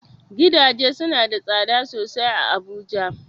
Gidaje suna da tsada sosai a Abuja.